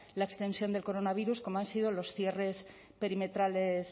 la extensión de coronavirus como han sido los cierres perimetrales